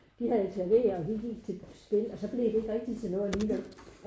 De havde klaver og de gik til spil og så blev det ikke rigtig til noget alligevel